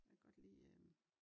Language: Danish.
Jeg kan godt lide øh